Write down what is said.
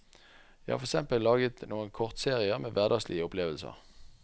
Jeg har for eksempel laget noen kortserier med hverdagslige opplevelser.